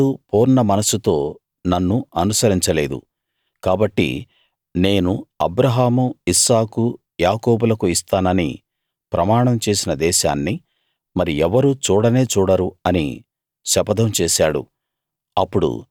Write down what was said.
మరి ఎవ్వడూ పూర్ణమనస్సుతో నన్ను అనుసరించలేదు కాబట్టి నేను అబ్రాహాము ఇస్సాకు యాకోబులకు ఇస్తానని ప్రమాణం చేసిన దేశాన్ని మరి ఎవరూ చూడనే చూడరు అని శపథం చేశాడు